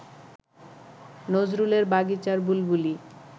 নজরুলের বাগিচার বুলবুলি